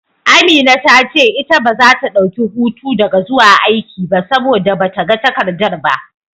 Amina ta ce ita baza ta dauki hutu daga zuwa aiki ba, saboda bata ga takarda ba.